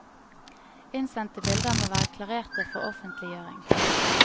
Innsendte bilder må være klarerte for offentliggjøring.